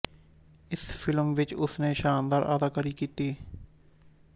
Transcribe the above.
ਇਸ ਫ਼ਿਲਮ ਵਿੱਚ ਉਸ ਨੇ ਸ਼ਾਨਦਾਰ ਅਦਾਕਾਰੀ ਕੀਤੀ